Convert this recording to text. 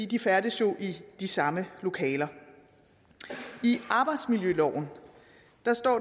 de færdes jo i de samme lokaler i arbejdsmiljøloven står